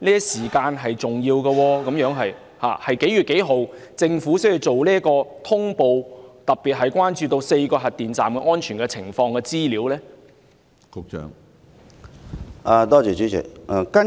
時間上的掌握十分重要，政府是何月何日作出查詢，特別是就4個核電站的安全情況作出查詢？